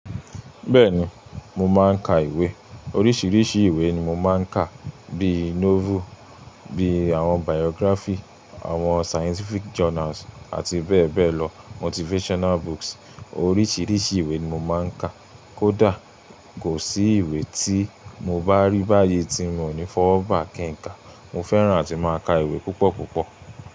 Bẹ́ẹ̀ni, mo máa ń ka ìwé. Oríṣiríṣi ìwé ni mo máa ń kà bí i novel, bí i àwọn biography, àwọn scientific journals àti bẹ́ẹ̀ bẹ́ẹ̀ lọ, motivational books. Oríṣiríṣi ìwé ni mo máa ń kà. Kódà kò sí ìwé tí mo bá rí báyìí tí mo ní fọwọ́ ba kí n kà. Mo fẹ́ràn àti máa ka ìwé púpọ̀ púpọ̀.